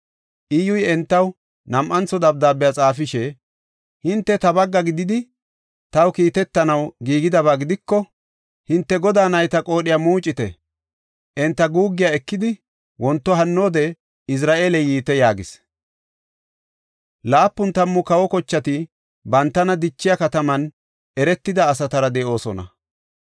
Iyyuy entaw nam7antho dabdaabe xaafishe, “Hinte ta bagga gididi, taw kiitetanaw giigidaba gidiko, hinte godaa nayta qoodhiya muucite; enta guuggiya ekidi, wonto hannoode Izra7eele yiite” yaagis. Laapun tammu kawa kochati bantana dichiya, kataman eretida asatara de7oosona.